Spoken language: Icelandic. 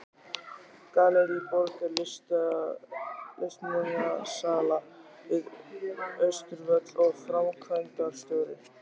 Gallerí Borg er listmunasala við Austurvöll og framkvæmdastjóri er